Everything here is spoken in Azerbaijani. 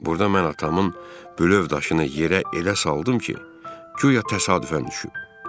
Burda mən atamın bülövd aşını yerə elə saldım ki, guya təsadüfən düşüb.